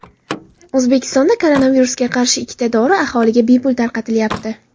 O‘zbekistonda koronavirusga qarshi ikkita dori aholiga bepul tarqatilyapti.